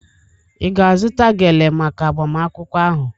Ị ga-azụta gele maka agbamakwụkwọ ahụ?